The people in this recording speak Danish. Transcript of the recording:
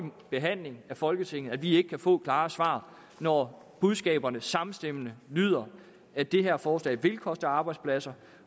behandling af folketinget at vi ikke kan få klare svar når budskaberne samstemmende lyder at det her forslag vil koste arbejdspladser